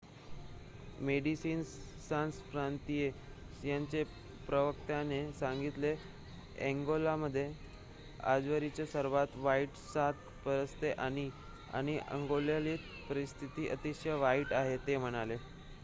"Médecins Sans Frontieres यांच्या प्रवक्त्याने सांगितलेः "अंगोलामध्ये आजवरची सर्वात वाईट साथ पसरते आहे आणि अंगोलातील परिस्थिती अतिशय वाईट आहे," ते म्हणाले.